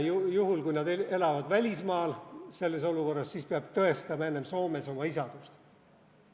Juhul, kui nad elavad välismaal, peab enne Soomes oma isadust tõestama.